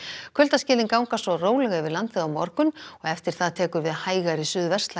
kuldaskilin ganga svo rólega yfir landið á morgun og eftir það tekur við hægari